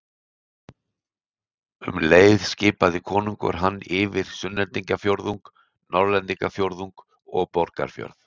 Um leið skipaði konungur hann yfir Sunnlendingafjórðung, Norðlendingafjórðung og Borgarfjörð.